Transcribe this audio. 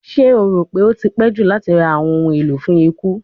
Ṣe o ko ro pe o ti pẹ ju lati ra awọn ohun elo fun iku?